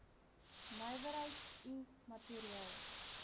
nywerheids i materiaal